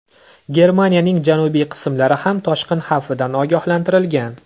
Germaniyaning janubiy qismlari ham toshqin xavfidan ogohlantirilgan.